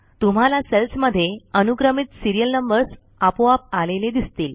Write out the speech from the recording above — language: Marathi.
तुम्हाला सेल्समध्ये अनुक्रमित सिरियल नंबर्स आपोआप आलेले दिसतील